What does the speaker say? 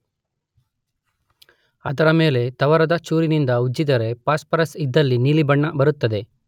ಅದರ ಮೇಲೆ ತವರದ ಚೂರಿನಿಂದ ಉಜ್ಜಿದರೆ ಫಾಸ್ಪರಸ್ ಇದ್ದಲ್ಲಿ ನೀಲಿ ಬಣ್ಣ ಬರುತ್ತದೆ.